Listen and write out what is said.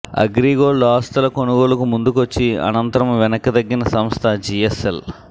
అగ్రిగోల్డ్ ఆస్తుల కొనుగోలుకు ముందుకొచ్చి అనంతరం వెనక్కి తగ్గిన సంస్థ జీఎస్ఎల్